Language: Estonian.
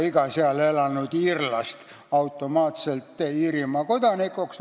Iga seal elanud iirlast ei loeta automaatselt Iirimaa kodanikuks.